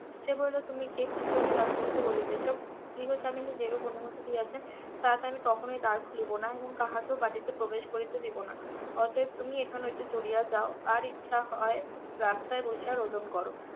সে বলিল তুমি কে কি জন্য দ্বার খুলিতে বলিতেছ গৃহস্বামিনী যেরূপ অনুমতি দিয়েছেন তাতে আমি কখনোই দ্বার খুলিব না এবং কাহাকেও বাটিতে প্রবেশ করিতে দেব না অতএব তুমি এখন হইতে চলিয়া যাও আর ইচ্ছা হয় রাস্তায় বসিয়া রোদন করো